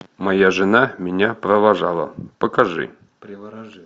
моя жена меня провожала покажи